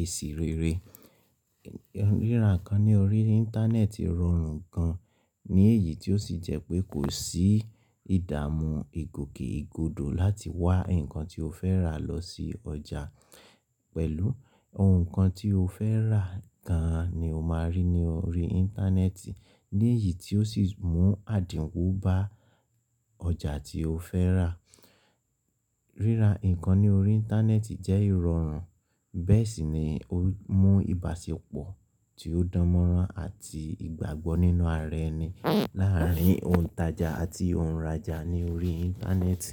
eṣì rẹ̀ rẹ̀. Ríra nǹkan ní orí Íńtánẹ́ẹ̀tì rọrùn gan ní èyí tó sì jẹ́ pé kò sí ìdààmú ìgòkè ìgodo láti wá nǹkan tí o fẹ́ rà lọ sí ọjà pẹ̀lú ohun kan tí o fẹ́ rà gan ni o máa rí ní orí Íńtánẹ́ẹ̀tì ní èyí tó sì mú àdinwo bá ọjà tí o fẹ́ rà. Ríra nǹkan ní orí Íńtánẹ́ẹ̀tì jẹ́ ìrọrùn bẹ́ẹ̀ sì ni ó mú ìbáṣepọ̀ tí ó dánmọ́nrán àti ìgbàgbọ́ nínú ara ẹni láàárín ohuntaja àti ohunraja ní orí Íńtánẹ́ẹ̀tì.